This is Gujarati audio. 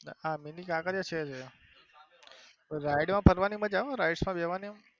આ મીની કાંકરિયા છે rides માં ફરવા ની મજા આવે rides માં બેસવની.